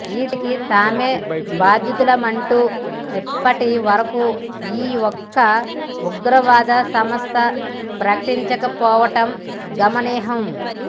ఈ దాడికి తామే బాధ్యులమంటూ ఇప్పటి వరకూ ఈ ఒక్క ఉగ్రవాద సంస్థా ప్రకటించకపోవటం గమనార్హం